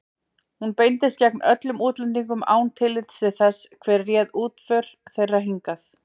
Hún beindist gegn öllum útlendingum án tillits til þess, hvað réð útför þeirra hingað.